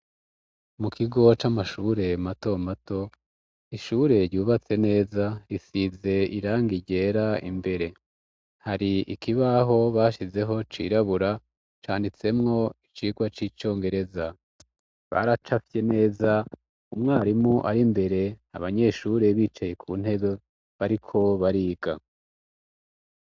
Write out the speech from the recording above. Mu kigo c'amashure mato mato, ishure ryubatse neza isize irangi ryera imbere hari ikibaho bashizeho cirabura canditsemwo icigwa c'icongereza, baracafye neza umwarimu ari mbere abanyeshure bicaye ku ntebe bariko bariga.